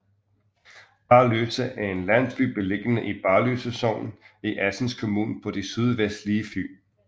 Barløse er en landsby beliggende i Barløse Sogn i Assens Kommune på det sydvestlige Fyn